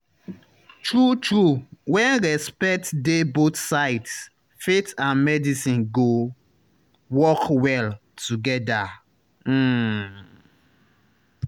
true true when respect dey both sides faith and medicine go work well together. um